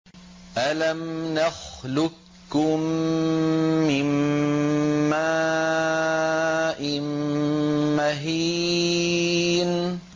أَلَمْ نَخْلُقكُّم مِّن مَّاءٍ مَّهِينٍ